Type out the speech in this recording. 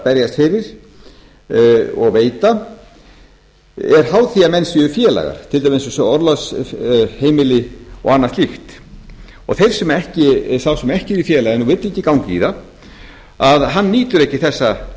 berjast fyrir og veita er háð því að menn séu félagar til dæmis eins og orlofsheimili og annað slíkt sá sem ekki er í félaginu og vill ekki ganga í það nýtur ekki